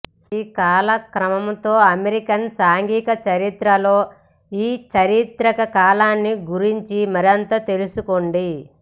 ఈ కాలక్రమంతో అమెరికన్ సాంఘిక చరిత్రలో ఈ చారిత్రక కాలాన్ని గురించి మరింత తెలుసుకోండి